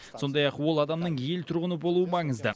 сондай ақ ол адамның ел тұрғыны болуы маңызды